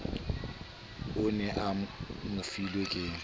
o ne a mofilwe ke